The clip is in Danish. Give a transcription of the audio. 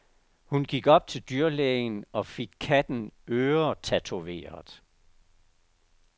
Hun gik op til dyrlægen og fik katten øretatoveret.